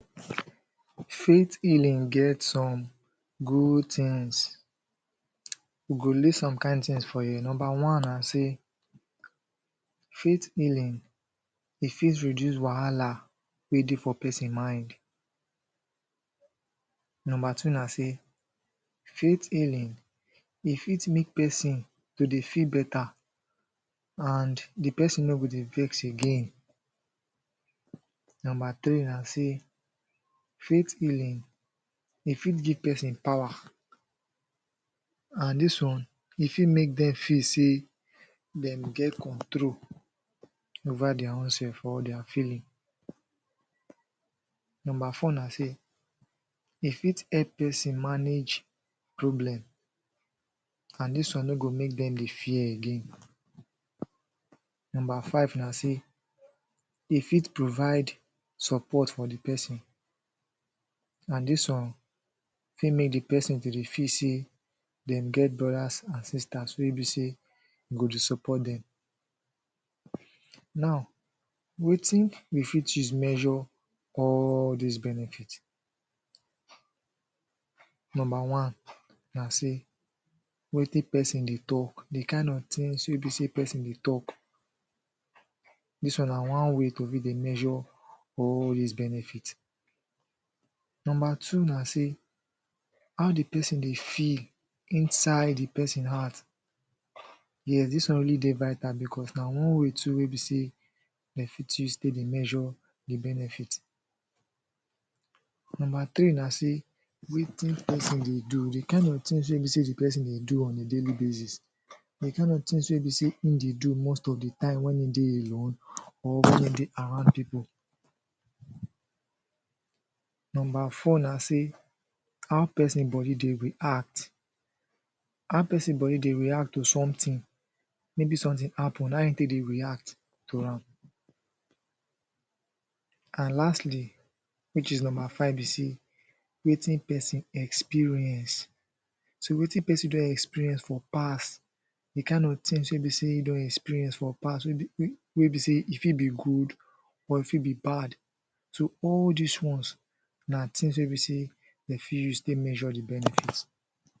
Faith healing get some good things we go list some kind things for here. Nomba one na sey faith healing e fit reduce wahala wey dey for person mind Nomba two na sey faith healing e fit make person to dey feel better and di person no go dey vex again Nomba three na sey faith healing e fit give person power and this one, e fit make dem feel sey dem get control over their own sef or their feeling Nomba four na sey e fit help person manage problem and this one no go make dem dey fear again Nomba five na sey e fit provide support for di person and this one fit make di person to dey feel say dem get brodas and sisters wey be say go dey support dem Now, wetin we fit use measure all dis benefits Nomba one na sey wetin person dey talk, di kind of things wey be sey person dey talk Dis one na one way to fit dey measure all dis benefit Nomba two na sey how di person dey feel inside di person heart yes dis one really dey vital becos na one way too wey be sey dem fit use to dey measure di benefit Nomba three na sey wetin person dey do, di kind of things wey be sey di person dey do on a daily basis Di kind of things wey be sey im dey do most of the time when e dey alone or when e dey around people Nomba four na sey how person body dey react, how person body dey react to something maybe something happen, how im take dey react to am And lastly, which is, nomba five be sey wetin person experience So wetin person don experience for past, di kind of things wey be sey im don experience for past wey be wey be sey e fit be good or e fit be bad. So all dis ones na things wey be sey dem fit use take measure di benefits